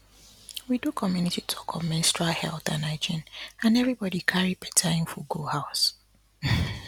we do community talk on menstrual health and hygiene and everybody carry better info go house